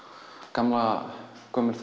gamlan